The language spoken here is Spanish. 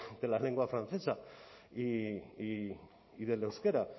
de la lengua francesa y del euskera